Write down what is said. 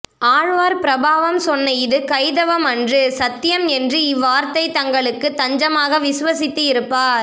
ஆழ்வார் பிரபாவம் சொன்ன இது கைதவம் அன்று சத்யம் என்று இவ்வர்த்தத்தை தங்களுக்குத் தஞ்சமாக விஸ்வசித்து இருப்பார்